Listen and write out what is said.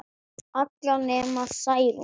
Allar nema Særún